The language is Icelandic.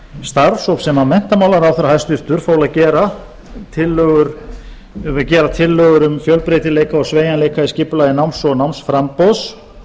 starfshóp sem menntamálaráðherra hæstvirtur fól að gera tillögur um fjölbreytileika og sveigjanleika í skipulagi náms og námsframboðs